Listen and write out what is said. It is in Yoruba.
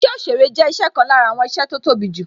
Isẹ òsèrè jẹ́ isẹ ọ̀kan lára àwọn iṣẹ́ tó tóbi jù